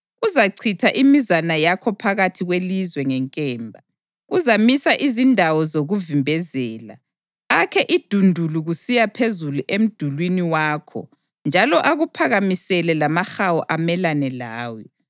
Uzachitha imizana yakho phakathi kwelizwe ngenkemba; uzamisa izindawo zokuvimbezela, akhe idundulu kusiya phezulu emdulini wakho njalo akuphakamisele lamahawu amelane lawe.